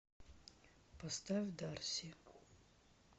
поставь дарси